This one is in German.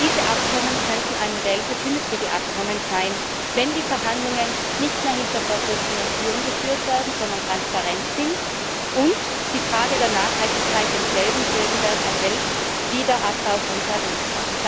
Diese Abkommen könnten ein Modell für künftige Abkommen sein, wenn die Verhandlungen nicht mehr hinter verschlossenen Türen geführt werden, sondern transparent sind, und die Frage der Nachhaltigkeit denselben Stellenwert erhält wie der Abbau von Tarifen.